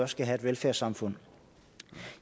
skal have et velfærdssamfund